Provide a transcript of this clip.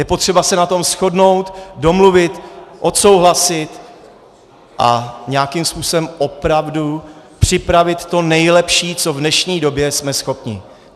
Je potřeba se na tom shodnout, domluvit, odsouhlasit a nějakým způsobem opravdu připravit to nejlepší, co v dnešní době jsme schopni.